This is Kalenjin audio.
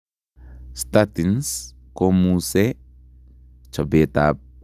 Statins komusee chobeet ab cholestorol eng kowet